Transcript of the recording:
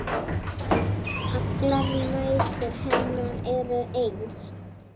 Allar nætur hennar eru eins.